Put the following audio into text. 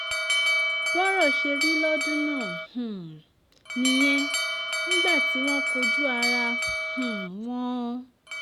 bọ́rọ̀ ṣe rí lọ́dún náà um nìyẹn nígbà tí wọ́n jọ kojú ara um wọn